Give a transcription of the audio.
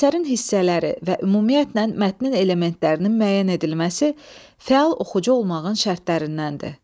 Əsərin hissələri və ümumiyyətlə mətnin elementlərinin müəyyən edilməsi fəal oxucu olmağın şərtlərindəndir.